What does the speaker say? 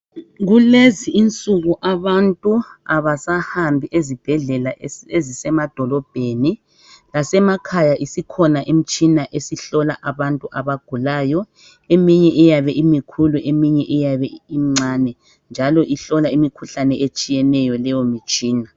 Kulezinsuku abantu abasahambi ezibhedlela ezisemadolobheni lasemakhaya isikhona imitshina esihlola abantu abagulayo eminye iyabe imikhulu eminye iyabe imincane njalo ihlola imikhuhlane etshiyeneyo leyo mitshina.